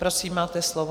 Prosím, máte slovo.